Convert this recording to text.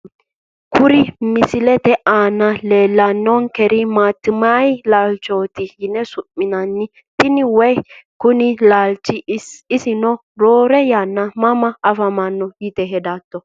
Kuri misilete aana leelani noonkeri maatimayi laalchoti yine su`minani tene woyi kone laalcho isino roore yana mama afamano yite hedato.